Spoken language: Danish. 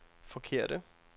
forkerte